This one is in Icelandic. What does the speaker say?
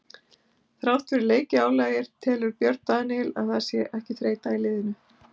Þrátt fyrir leikjaálagið telur Björn Daníel að það sé ekki þreyta í liðinu.